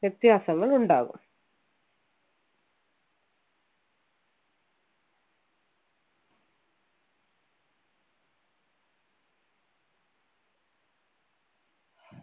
വ്യത്യാസങ്ങൾ ഉണ്ടാകും